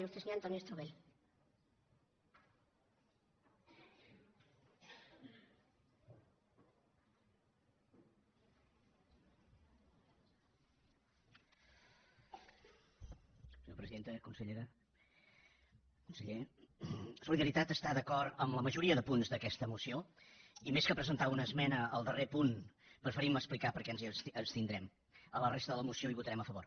consellera conseller solidaritat està d’acord amb la majoria de punts d’aquesta moció i més que presentar una esmena al darrer punt preferim explicar per què ens n’abstindrem a la resta de la moció hi votarem a favor